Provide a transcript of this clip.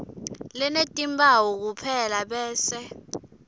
lenetimphawu kuphela bese